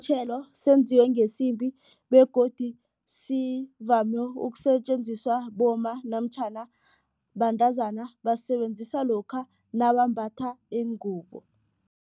senziwe ngesimbi begodu sivame ukusetjenziswa bomma namtjhana bantazana basisebenzisa lokha nabambatha iingubo.